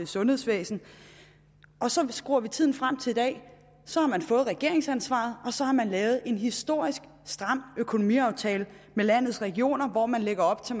sundhedsvæsen så skruer vi tiden frem til i dag så har man fået regeringsansvaret og så har man lavet en historisk stram økonomiaftale med landets regioner hvor man lægger op til